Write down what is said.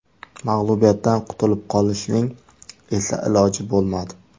Mag‘lubiyatdan qutulib qolishning esa iloji bo‘lmadi.